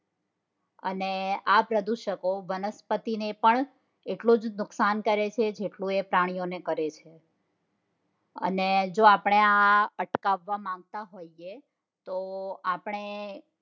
અને આ પ્રદૂષકો વનસ્પતિઓ ને પણ એટલુંજ નુકસાન કરે છે જેટલું એ પ્રાણીઓ ને કરે છે અને જો આપણે આ અટકાવવા માંગતા હોઈએ તો આપણે